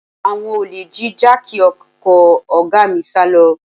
Àwọn olè jí jáàkì ọkọ̀ ọ̀gá mi sálọ